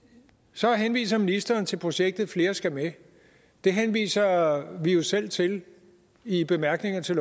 så henviser ministeren til projektet flere skal med det henviser vi jo selv til i bemærkningerne til